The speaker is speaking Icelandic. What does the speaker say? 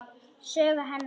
Sögu hennar.